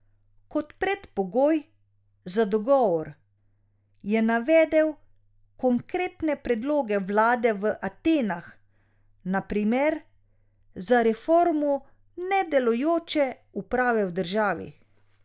Kot predpogoj za dogovor je navedel konkretne predloge vlade v Atenah, na primer za reformo nedelujoče uprave v državi.